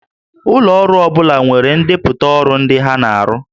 Ụlọ ọrụ ọ bụla nwere ndepụta ọrụ ndị ha na-arụ